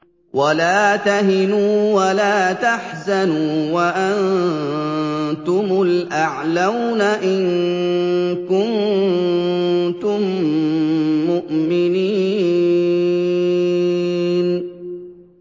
وَلَا تَهِنُوا وَلَا تَحْزَنُوا وَأَنتُمُ الْأَعْلَوْنَ إِن كُنتُم مُّؤْمِنِينَ